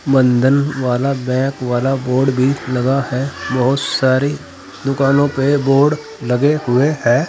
बंधन वाला बैंक वाला बोर्ड भी लगा है। बहुत सारी दुकानों पे बोर्ड लगे हुए है।